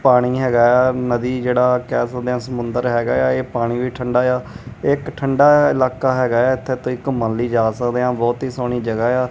ਪਾਣੀ ਹੈਗਾ ਆ ਨਦੀ ਜਿਹੜਾ ਕੇਹ ਸਕਦੇ ਹਾਂ ਸਮੁੰਦਰ ਹੈਗਾ ਆ ਇਹ ਪਾਣੀ ਵੀ ਠੰਡਾ ਆ ਇੱਕ ਠੰਡਾ ਇਲਾਕਾ ਹੈਗਾ ਹੈ ਇੱਥੇ ਤੁਸੀ ਘੁੰਮਨ ਲਈ ਜਾ ਸਕਦੇਆਂ ਬੋਹੁਤ ਹੀ ਸੋਹਣੀ ਜਗਾਹ ਆ।